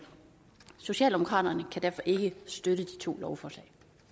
socialdemokraterne kan derfor ikke støtte de to